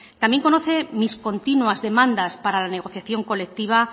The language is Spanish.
también conoce mis continuas demandas para la negociación colectiva